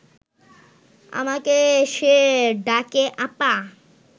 আমাকে সে ডাকে আপা